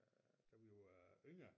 Øg da vi var yngre